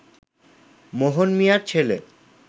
মোহন মিয়ার ছেলে